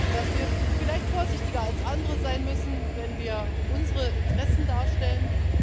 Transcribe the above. ist, dass wir vielleicht vorsichtiger als andere sein müssen, wenn wir unsere Interessen darstellen.